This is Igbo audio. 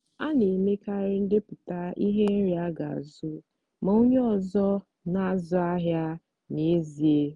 a na-emekarị ndepụta ihe nri aga azu ma onye ọzọ na-azụ ahịa n'ezie.